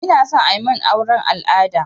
Inason amin auren al'ada